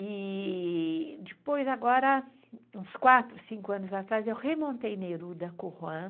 E depois, agora, uns quatro, cinco anos atrás, eu remontei Neruda Curruan,